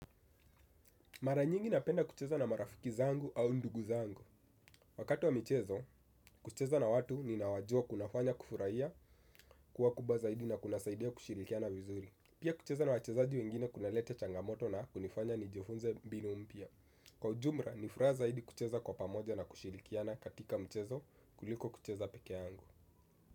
Mara nyingi napenda kucheza na marafiki zangu au ndugu zangu. Wakati wa michezo, kucheza na watu ninaowajua kunafanya kufurahia, kuwa kubwa zaidi na kunasaidia kushirikiana vizuri. Pia kucheza na wachezaji wengine kunalete changamoto na kunifanya nijifunze mbinu mpya. Kwa ujumla, ni furaha zaidi kucheza kwa pamoja na kushirikiana katika michezo kuliko kucheza peke yangu.